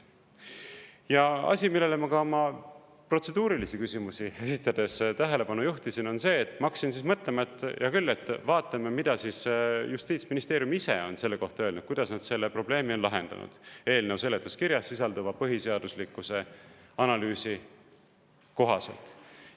Ja asi, millele ma protseduurilisi küsimusi esitades tähelepanu juhtisin, on see, et ma hakkasin mõtlema, et hea küll, vaatame, mida siis justiitsministeerium ise on selle kohta öelnud, kuidas nad selle probleemi on lahendanud eelnõu seletuskirjas sisalduva põhiseaduslikkuse analüüsi kohaselt.